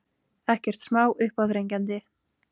Ekkert smá uppáþrengjandi.